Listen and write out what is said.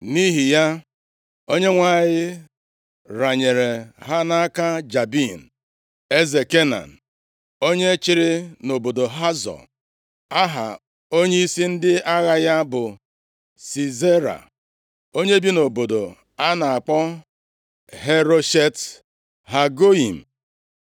Nʼihi ya, Onyenwe anyị renyere ha nʼaka Jabin, eze Kenan, onye chịrị nʼobodo Hazọ. Aha onyeisi ndị agha ya bụ Sisera, onye bi nʼobodo a na-akpọ Heroshet Hagoyim.